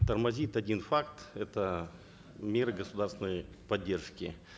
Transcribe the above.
тормозит один факт это меры государственной поддержки